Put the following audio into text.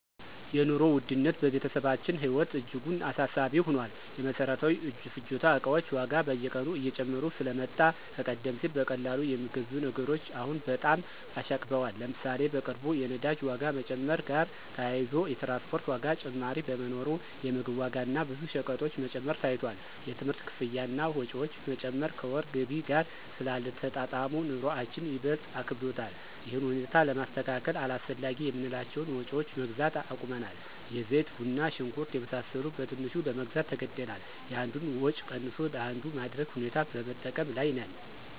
የኑሮ ውድነት በቤተሰባችን ህይወት እጅጉን አሳሳቢ ሆኗል። የመሰረታዊ ፍጆታ እቃዎች ዋጋ በየቀኑ እየጨመረ ስለመጣ ከቀደም ሲል በቀላሉ የሚገዙ ነገሮች አሁን በጣም አሻቅበዋል። ለምሳሌ፣ በቅርቡ የነዳጅ ዋጋ መጨመር ጋር ተያይዞ የትራንስፖርት ዋጋ ጭማሪ በመኖሩ የምግብ ዋጋ እና ብዙ ሸቀጦች መጨመር ታይቷል። የትምህርት ክፍያ እና ወጪዎች መጨመር ከወር ገቢ ጋር ስላልተጣጣሙ፣ ኑሮአችን ይበልጥ አክብዶታል። ይህን ሁኔታ ለማስተካከል አላስፈላጊ የምንላቸውን ወጭዎች መግዛት አቁመናል። የዘይት፣ ቡና፣ ሽንኩርት የመሳሰሉ በትንሹ ለመግዛት ተገደናል። የአንዱን ወጭ ቀንሶ ለአንዱ ማድረግ ሁኔታ በመጠቀም ላይ ነን።